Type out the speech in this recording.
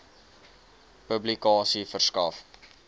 publikasie verskaf